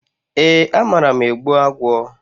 E, amara m egbu agwọ.